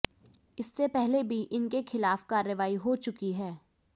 इससे पहले भी इनके खिलाफ कार्रवाई हो चुकी है